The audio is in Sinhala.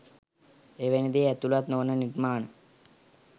එවැනි දේ ඇතුලත් නොවන නිර්මාණ